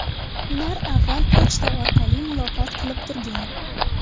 Ular avval pochta orqali muloqot qilib turgan.